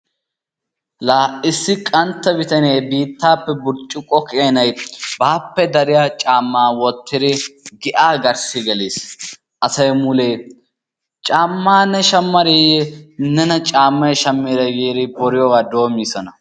Laa issi qantta bitanee biittaape burccukko keenay baappe dariyaa caammaa wottidi giyaa garssi gelis asay mulee caamma ne shammadiiyye nena caammay shammidee giidi boryioogaa doommidosona.